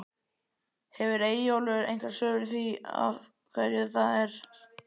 Hefur Eyjólfur einhver svör við því af hverju það er?